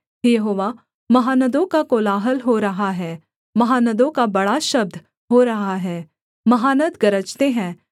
हे यहोवा महानदों का कोलाहल हो रहा है महानदों का बड़ा शब्द हो रहा है महानद गरजते हैं